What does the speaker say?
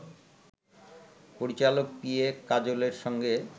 পরিচালক P A কাজলের সঙ্গে